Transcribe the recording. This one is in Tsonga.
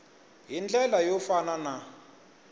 hi ndlela yo fana na